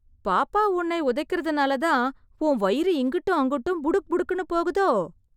பாப்பா உன்னை உதைக்கறதாலதான், உன் வயிறு இங்குட்டும் அங்குட்டும், புடுக் புடுக்குன்னு போகுதோ...